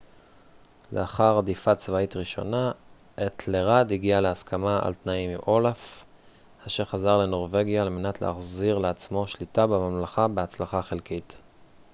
לאחר הדיפה צבאית ראשונה אתלרד הגיע להסכמה על תנאים עם אולף אשר חזר לנורווגיה על מנת לנסות להחזיר לעצמו שליטה בממלכה בהצלחה חלקית